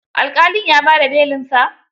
Alƙalin ya ba da belinsa?